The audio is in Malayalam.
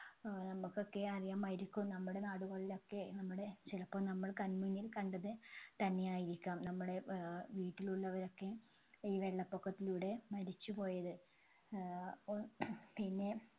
ഏർ നമ്മുക്കൊക്കെ അറിയാമായിരിക്കും നമ്മുടെ നാടുകളിലൊക്കെ നമ്മുടെ ചിലപ്പോൾ നമ്മൾ കണ്മുന്നിൽ കണ്ടത് തന്നെയായിരിക്കാം നമ്മളെ ഏർ വീട്ടിലുള്ളവരൊക്ക ഈ വെള്ളപൊക്കത്തിലൂടെ മരിച്ചുപോയത് ഏർ ഒ പിന്നെ